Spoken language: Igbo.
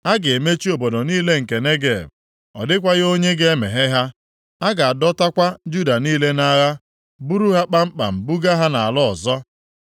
A ga-emechi obodo niile nke Negeb. Ọ dịkwaghị onye ga-emeghe ha. A ga-adọtakwa Juda niile nʼagha buru ha kpamkpam buga ha nʼala ọzọ.